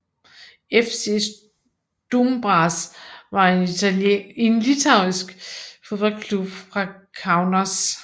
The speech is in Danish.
FC Stumbras var en litauisk fodboldklub fra Kaunas